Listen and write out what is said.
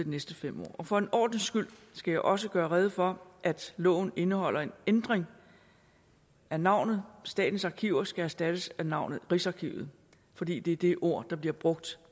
næste fem år for en ordens skyld skal jeg også gøre rede for at loven indeholder en ændring af navnet statens arkiver som skal erstattes af navnet rigsarkivet fordi det er det ord der bliver brugt